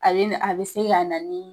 Ale ni a be se ka na ni